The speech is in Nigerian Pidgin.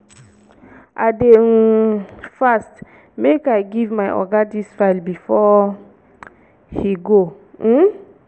i dey do um fast make i give my oga dis file before he go. um